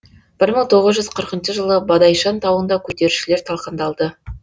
бір мың тоғыз жүз қырқыншы жылы бадайшан тауында көтерілісшілер талқандалды